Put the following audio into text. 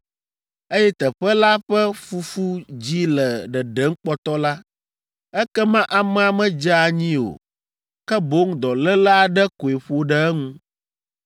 eye teƒe la ƒe fufu dzi le ɖeɖem kpɔtɔ la, ekema amea medze anyi o, ke boŋ dɔléle aɖe koe ƒo ɖe eŋu.